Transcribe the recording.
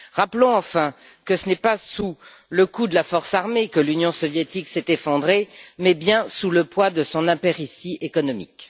Rappelons enfin que ce n'est pas sous le coup de la force armée que l'Union soviétique s'est effondrée, mais bien sous le poids de son impéritie économique.